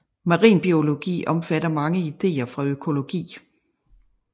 Marinbiologi omfatter mange ideer fra økologi